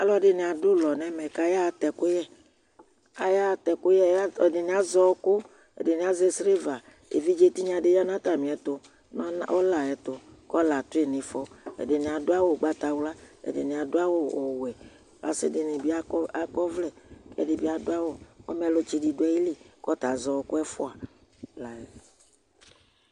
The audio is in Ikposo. Alʋɛdini adʋ ʋlɔ nɛmɛ kayaɣatɛ ɛkʋyɛAyaɣa atɛ ɛkʋyɛ, ɛdini azɛ ɔɔkɔ, ɛdini azɛ siliva Evidze tinya di ya nʋ atami ɛtʋ, nʋ ɔn ɔla ayɛtʋ, kʋ ɔla atʋ yi nifɔ Ɛdini adʋ awʋ ʋgbatawla, ɛdini adʋ awʋ ɔwɛ Asi di ni bi akɔ, akɔ ɔvlɛ, kɛ dini bi adʋ awʋ Ɔmɛlʋtsi di dʋ ayili kʋ ɔta azɛ ɔɔkʋ ɛfua la yɛ